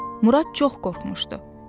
Murad çox qorxmuşdu.